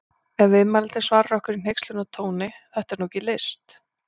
Ef viðmælandinn svarar okkur í hneykslunartóni: Þetta er nú ekki list!